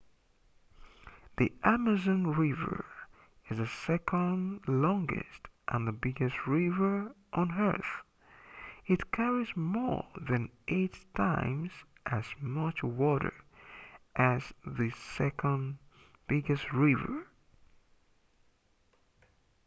the amazon river is the second longest and the biggest river on earth it carries more than 8 times as much water as the second biggest river